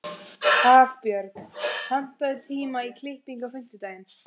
Hafbjörg, pantaðu tíma í klippingu á fimmtudaginn.